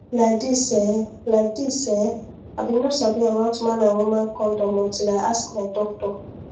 like this ehh like this ehh i bin no sabi about man and woman condom until i ask my doctor